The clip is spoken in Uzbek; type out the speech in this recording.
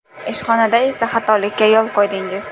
Ishxonada esa xatolikka yo‘l qo‘ydingiz.